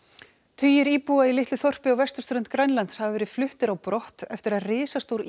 tugir íbúa í litlu þorpi á vesturströnd Grænlands hafa verið fluttir á brott eftir að risastór